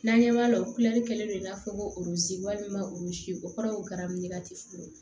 N'an ɲɛ b'a la o kɛlen do i n'a fɔ ko walima o kɔrɔ ye ko garamini ka teli fɔlɔ